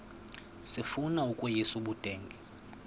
sifuna ukweyis ubudenge